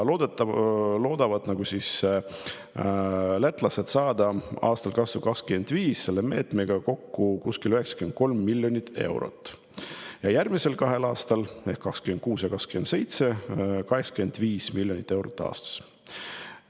Lätlased loodavad saada aastal 2025 selle meetmega kokku kuskil 93 miljonit eurot ja järgmisel kahel aastal ehk 2026. ja 2027. aastal 85 miljonit eurot aastas.